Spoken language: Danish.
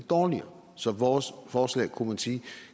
dårligere så vores forslag